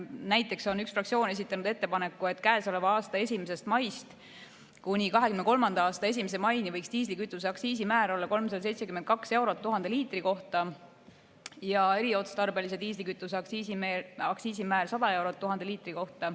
Näiteks on üks fraktsioon esitanud ettepaneku, et käesoleva aasta 1. maist kuni 2023. aasta 1. maini võiks diislikütuse aktsiisimäär olla 372 eurot 1000 liitri kohta ja eriotstarbelise diislikütuse aktsiisimäär 100 eurot 1000 liitri kohta.